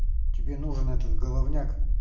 тебе нужен этот головняк